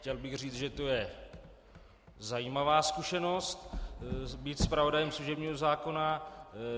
Chtěl bych říct, že to je zajímavá zkušenost být zpravodajem služebního zákona.